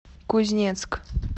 кузнецк